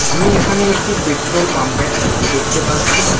আমি এখানে একটি পেট্রোল পাম্প -এর ছবি দেখতে পাচ্ছি।